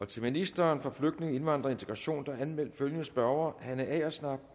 til ministeren for flygtninge indvandrere og integration er anmeldt følgende spørgere hanne agersnap